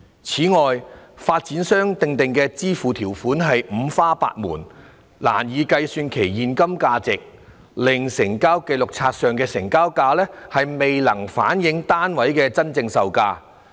此外，發展商訂定的支付條款五花八門，難以計算其現金等值，令成交紀錄冊上的"成交價"未能反映單位的真正售價。